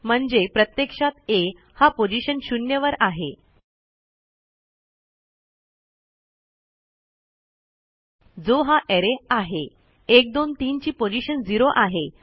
म्हणजे प्रत्यक्षात आ हा पोझिशन 0 वर आहे जो हा अरे आहे 123 ची पोझिशन झेरो आहे